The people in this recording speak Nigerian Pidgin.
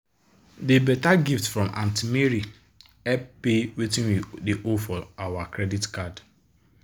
de better gift from aunty mary help pay wetin we dey owe for our credit card.